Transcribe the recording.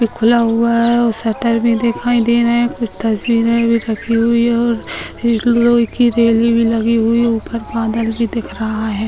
खुला हुआ है वह स्वेटर में दिखाई दे रहा है कुछ तस्वीरें भी रखी हुई-- और एक लोहे की रैली भी लगी हुई ऊपर बादल भी दिख रहा है।